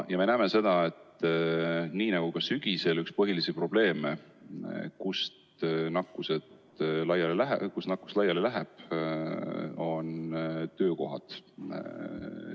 Ja me näeme seda, et nii nagu sügisel, on ka praegu üks põhilisi probleemseid kohti, kus nakkus laiali läheb, töökohad.